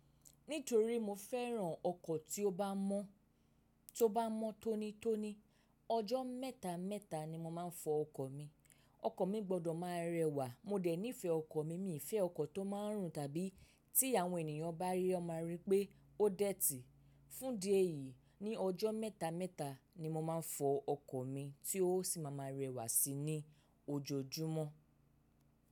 Nítorí mo fẹ́ràn ọkọ̀ tí ó bá mọ́, tó bá mọ́ tónítóní, ọjọ́ mẹ́ta mẹ́ta ni mo máa ń fọ ọkọ̀ mi. Ọkọ̀ mi gbọdọ̀ máa rẹwà, mo dẹ̀ nífẹ̀ẹ́ ọkọ̀ mi, mi ò fẹ́ ọkọ̀ tó máa ń rùn tàbí tí àwọn ènìyàn bá rí ọ máa rí pé ó dẹ́tì. Fún dí eyìí, ní ọjọ́ mẹ́ta mẹ́ta ni mo máa ń fọ ọkọ̀ mi tí ó sì máa ma rẹwà sí i ní ojoojúmọ́.